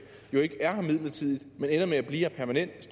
jo ikke er her midlertidigt men ender med at blive her permanent